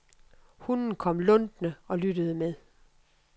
Hunden kom luntende og lyttede med.